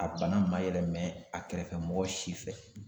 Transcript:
A bana ma yɛlɛmɛ a kɛrɛfɛ mɔgɔ si fɛ